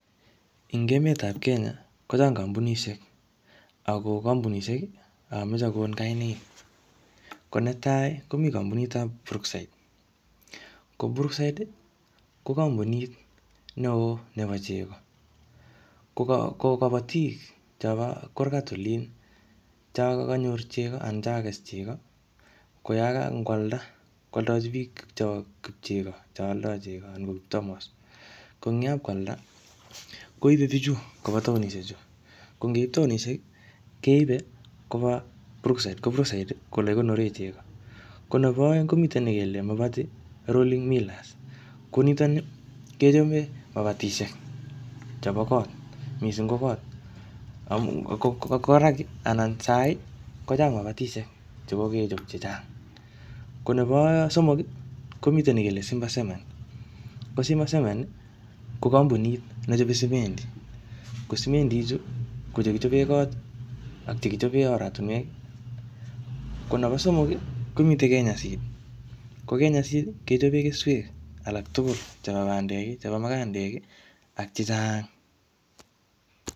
Eng emet ap Kenya, kochang kampunisiek. Ago kampunisiek, ameche akon kainaik. Ko netai, komi kapunit ap Brookside. Ko Brookside, ko kampunit neoo nebo chego. Ko ka ko kabatik chobo kurgat olin, cho kanyor chego anan cho kakes chego, koyaga ngwalda, koaldachi biik chok chego che aldoi chego anan ko tamos. Ko eng yapkwalda, koibe bichu koba taonishek chu. Ko ngeip taonishek, keipe koba Brookside. Ko Brookside, ko ole kikonore chego. Ko nebo aeng, komite ne kele Mabati Rolling Millers. Ko nitoni, kechape mabatisiek chebo kot, missing ko kot. Ko koraki anan sahii, kochang mabatisiek che kokechop chechang. Ko nebo somok, komite ne kele Simba Cement. Ko Simba Cement, ko kampunit nechope simendi. Ko simendi ichu, ko chekichope kot, ak chekichope oratunwek. Ko nebo somok, komite Kenya Seed. Ko Kenya Seed, kechope keswek alak tugul chebo bandek, chebo mukandek, ak chechang.